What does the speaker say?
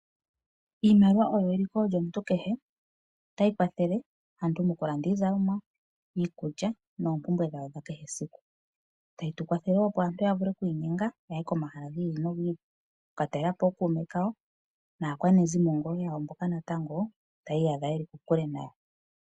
Iimaliwa oyo eliko lyomuntu kehe. Otayi kwathele aantu mokulanda iizalomwa ,iikulya noompumbwe dhawo dha kehe esiku .Otayi tukwathele woo opo aantu yavule oku inyenga opo aantu yaye komahala gi ili nogi ili oku ka talelapo ookuume kawo naakwanezimo mboka natango ta yi iyadha yeli kokule nayo.